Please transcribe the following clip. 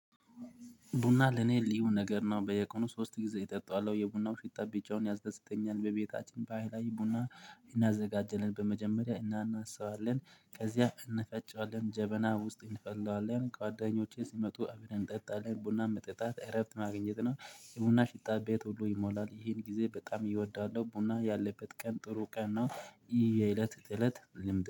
ቡና ለኔ ልዩ ነገር ነው። በየቀኑ ሶስት ጊዜ እጠጣዋለው የቡናው ሽታ ቢጫውን ያስደስተኛል። በቤታችን ባህላዊ ቡና እናዘጋጃለን በመጀመሪያ እኛ እናስባለን ከዚያ እንፈጫለን ጀበና ውስጥ እንፈለዋለን ጓዳኞቼ ሲመጡ አብረን እንጠጣለን ቡና መጠጣት እረብት ማግኘት ነው። የቡና ሽታ ቤት ሁሉ ይሞላል። ይሄን ጊዜ በጣም ዪወዳለው ቡና ያለበት ቀን ጥሩ ቀን ነው። ይህ የእለት እለት ልምድ